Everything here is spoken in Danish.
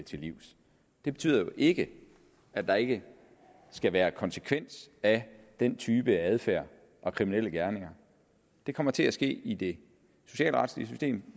til livs det betyder ikke at der ikke skal være konsekvens af den type adfærd og kriminelle gerninger det kommer til at ske i det socialretlige system